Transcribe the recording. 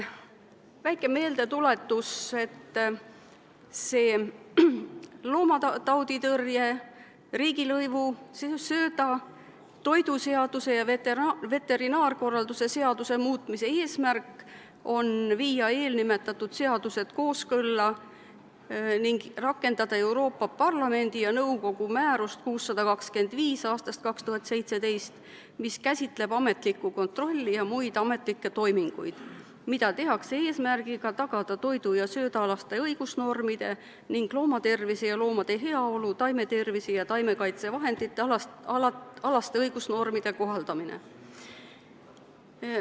Väike meeldetuletus, et loomatauditõrje seaduse, riigilõivuseaduse, söödaseaduse, toiduseaduse ja veterinaarkorralduse seaduse muutmise seaduse eesmärk on viia eelnimetatud seadused kooskõlla ning rakendada Euroopa Parlamendi ja nõukogu määrust 625 aastast 2017, mis käsitleb ametlikku kontrolli ja muid ametlikke toiminguid, mida tehakse eesmärgiga tagada toidu- ja söödaalaste õigusnormide ning loomatervise ja loomade heaolu, taimetervise- ja taimekaitsevahendite alaste õigusnormide kohaldamine.